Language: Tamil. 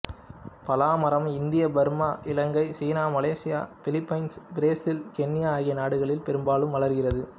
பலா மரம் India Burma Ilangai China Malaysia Philippines Brazil Kenya ஆகிய நாடுகளில் பெரும்பாலாக வளர்கிறது